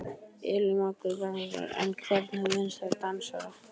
Elín Margrét Böðvarsdóttir: En hvernig fannst þér dansararnir?